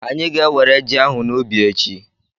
Anyị ga-enwere ji ahụ n'ubi echi.